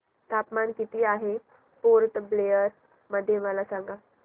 तापमान किती आहे पोर्ट ब्लेअर मध्ये मला सांगा